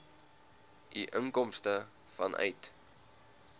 u inkomste vanuit